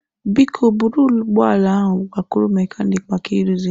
Biko buru ụgbọ ala ahụ gakwuru mekaniki maka ịrụzi ya.